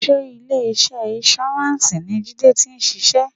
Sé ilé iṣẹ́ insurance ni Jide ti ń ṣiṣẹ́?